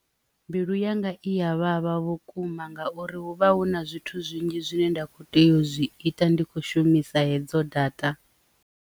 Mbilu yanga i ya vhavha vhukuma ngauri hu vha hu na zwithu zwinzhi zwine nda kho tea u zwi ita ndi kho shumisa hedzo data.